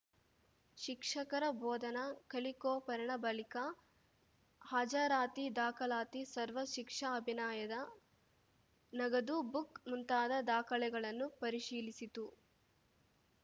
ಶಿಕ್ಷಕರ ಬೋಧನಾ ಕಲಿಕೋಪರಣ ಬಳಿಕ ಹಾಜರಾತಿ ದಾಖಲಾತಿ ಸರ್ವ ಶಿಕ್ಷಾ ಅಭಿನಾಯದ ನಗದು ಬುಕ್‌ ಮುಂತಾದ ದಾಖಲೆಗಳನ್ನು ಪರಿಶೀಲಿಸಿತು